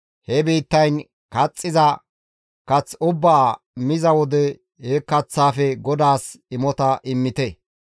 he biittayn kaxxiza kath ubbaa miza wode he kaththaafe GODAAS imota immite.